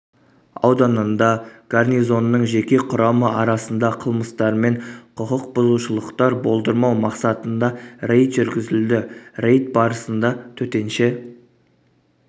ауданында гарнизонның жеке құрамы арасында қылмыстармен құқық бұзушылықтар болдырмау мақсатында рейд жүргізілді рейд барысында төтенше